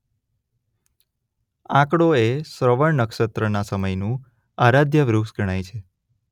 આંકડો એ શ્રવણ નક્ષત્રના સમયનું આરાધ્ય વૃક્ષ ગણાય છે.